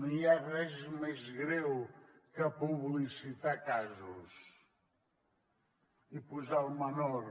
no hi ha res més greu que publicitar casos i posar el menor